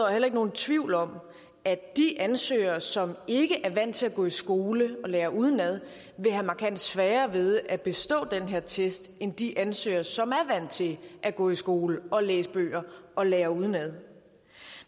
heller ikke nogen tvivl om at de ansøgere som ikke er vant til at gå i skole og lære udenad vil have markant sværere ved at bestå den her test end de ansøgere som er vant til at gå i skole og læse bøger og lære udenad